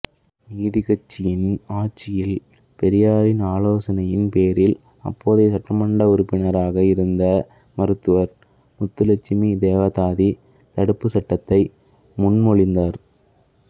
நீதிக்கட்சியின் ஆட்சியில் பெரியாரின் ஆலோசனையின் பேரில் அப்போதைய சட்டமன்ற உறுப்பினராக இருந்த மருத்துவர் முத்துலட்சுமி தேவதாசி தடுப்புச் சட்டத்தை முன்மொழிந்தார்